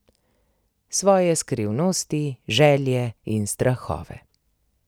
Svoje skrivnosti, želje in strahove.